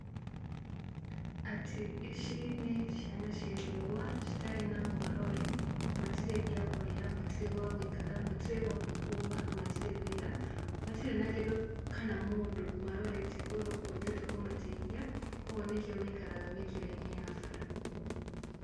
Atĩ ici nĩ ciana cia ndigwa, citarĩ na mũmarori, matirĩ gĩa kũrĩa, matirĩ gwa gũikara, matirĩ gwa kwĩhumba, matirĩ wĩra, matirĩ na kĩndũ kana mũndũ marorete igũrũ ũngĩhota kũmateithĩa, kogwo nĩkĩo maikaraga mĩkĩra-inĩ ya bara.